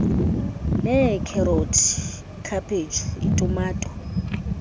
neekherothi ikhaphetshu itumato